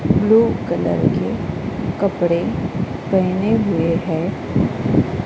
Blue colour के कपड़े पहने हुए हैं।